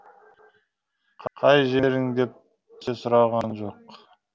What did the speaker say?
қай жерің деп те сұраған жоқ